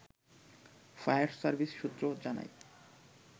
fire service সূত্র জানায়